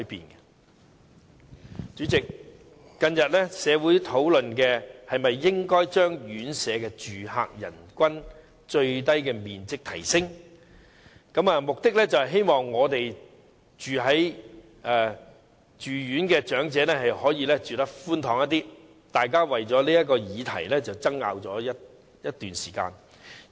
代理主席，社會近日討論應否提升院舍住客人均最低面積，目的是希望住院長者可以住得較寬敞，大家為此議題爭拗了好一段時間。